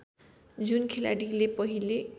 जुन खेलाडीले पहिले